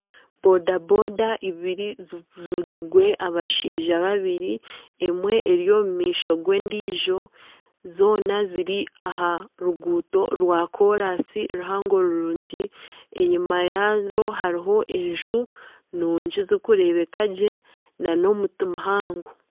Bodaboda ibiri zivigirwe abashaija babiri emwe eri omu maisho g'endiijo zoona ziri aha ruguuto rwa koraansi ruhango rurungi enyuma yaazo hariho enju nungi zirikureebeka gye nana omuti muhango.